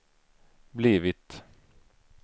blivit